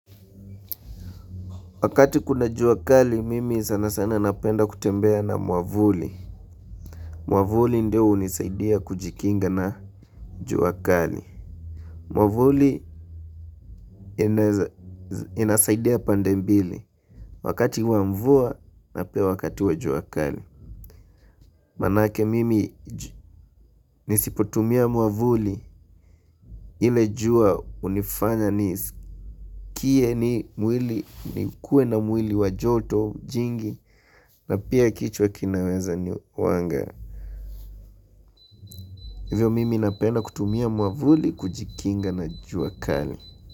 Wakati kuna jua kali mimi sana sana napenda kutembea na mwavuli. Mwavuli ndio hunisaidia kujikinga na jua kali. Mwavuli inaeza inasaidia pande mbili. Wakati wa mvua na peia wakati wa jua kali. Manake mimi nisipotumia mwavuli ile jua hunifanya niskie ni mwili nikuwe na mwili wa joto jingi na pia kichwa kinaweza ni wanga. Hivyo mimi napenda kutumia mwavuli kujikinga na jua kali.